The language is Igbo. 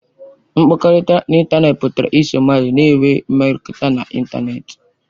Mkpakọrịta n'ịntanetị pụtara iso mmadụ na-enwe mmekọrịta na ịntanetị.